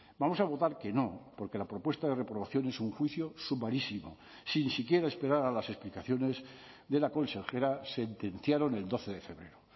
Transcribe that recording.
vamos a votar que no porque la propuesta de reprobación es un juicio sumarísimo sin siquiera esperar a las explicaciones de la consejera sentenciaron el doce de febrero